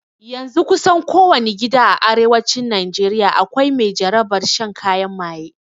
Yanzun kusan ko wani gida a arewacin najeriya akwai mai jarabar shan kayan maye